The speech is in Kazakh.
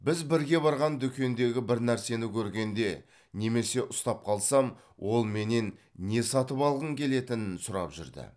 біз бірге барған дүкендегі бір нәрсені көргенде немесе ұстап қалсам ол менен не сатып алғым келетінін сұрап жүрді